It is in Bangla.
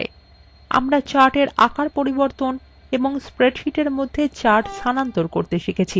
আমরা chartswe আকার পরিবর্তন এবং spreadsheet মধ্যে charts স্থানান্তর করতে শিখেছি